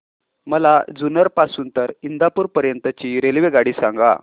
मला जुन्नर पासून तर इंदापूर पर्यंत ची रेल्वेगाडी सांगा